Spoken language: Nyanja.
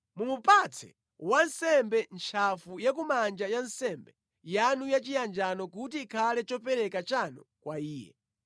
Mumupatse wansembe ntchafu ya kumanja ya nsembe yanu yachiyanjano kuti ikhale chopereka chanu kwa iye.